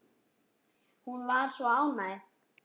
Hún var svo ánægð.